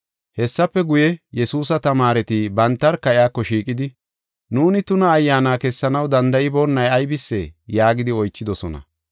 Hessafe guye, Yesuusa tamaareti bantarka iyako shiiqidi, “Nuuni tuna ayyaana kessanaw danda7iboonay aybisee?” yaagidi oychidosona.